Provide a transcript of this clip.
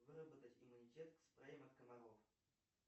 выработать иммунитет к спреям от комаров